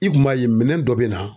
I kun b'a ye minɛn dɔ bɛ na